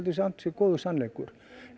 sé góður sannleikur